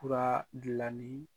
Furalanin